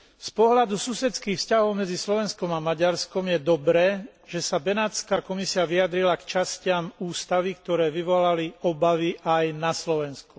Z pohľadu susedských vzťahov medzi Slovenskom a Maďarskom je dobré, že sa Benátska komisia vyjadrila k častiam ústavy, ktoré vyvolali obavy aj na Slovensku.